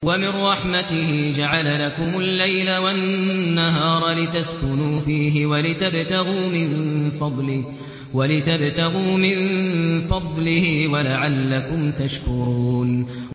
وَمِن رَّحْمَتِهِ جَعَلَ لَكُمُ اللَّيْلَ وَالنَّهَارَ لِتَسْكُنُوا فِيهِ وَلِتَبْتَغُوا مِن فَضْلِهِ وَلَعَلَّكُمْ تَشْكُرُونَ